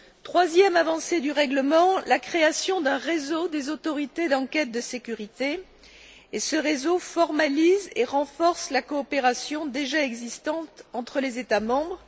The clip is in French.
Troisième avancée du règlement la création d'un réseau des autorités d'enquêtes de sécurité, qui formalise et renforce la coopération déjà existante entre les États membres.